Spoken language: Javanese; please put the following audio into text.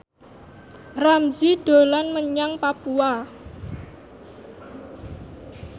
Ramzy dolan menyang Papua